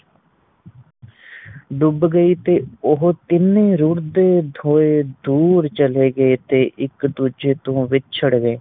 ਡੁੱਬ ਗਈ ਤੇ ਓਹੋ ਤਿੰਨ ਰੁੜਦੇ ਹੋਏ ਦੂਰ ਚਲੇ ਗਏ ਤੇ ਇੱਕ ਦੂਜੇ ਤੋਂ ਵਿੱਛੜ ਗਏ